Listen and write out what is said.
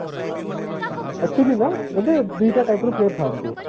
actually ନା ବୋଲେ ଦୁଇଟା type ର player ଥାନ୍ତି